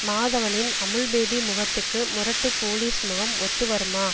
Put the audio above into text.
மாதவனின் Amul baby முகத்துக்கு முரட்டு police முகம் ஒத்து வருமா